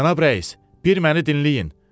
Cənab rəis, bir məni dinləyin.